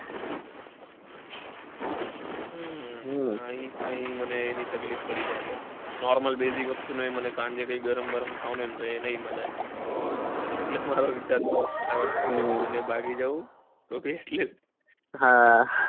હમ અહીં મને એની તકલીફ પડી જાય બૌ normal વસ્તુ બી મને ગરમ ગરમ ખાવાનું એ નાઈ મળે. એટલે મારો વિચાર એવો છે કે ફટાફટ ભાગી જાઉં એટલે હા.